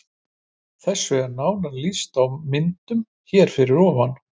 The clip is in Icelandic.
Þessu er nánar lýst á myndunum hér fyrir ofan.